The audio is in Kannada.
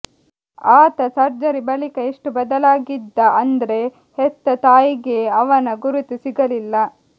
ಆತ ಸರ್ಜರಿ ಬಳಿಕ ಎಷ್ಟು ಬದಲಾಗಿದ್ದ ಅಂದ್ರೆ ಹೆತ್ತ ತಾಯಿಗೇ ಅವನ ಗುರುತು ಸಿಗಲಿಲ್ಲ